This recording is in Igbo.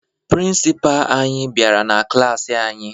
Prịnsịpaa anyị bịara na klaasị anyị